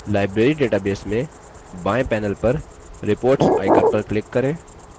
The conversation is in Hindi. बाएँ panel पर reports icon पर click करें